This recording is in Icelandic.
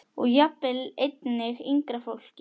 Og jafnvel einnig yngra fólki.